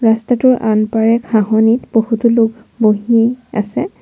ৰাস্তাটোৰ আনপাৰে ঘাঁহনি বহুতো লোক বহি আছে।